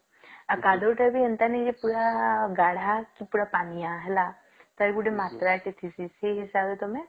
ଆଉ କାଦୁଅ ତଅ ବି ଏନ୍ତା ନାହିଁକି ପୁରା ଗାଢ କି ପୁର ପାନିଆ ହେଲା ଟାର ଗୋଟେ ମାତ୍ରା ଟେ ସିସି ସେଇହିସାବ ରେ ତମେ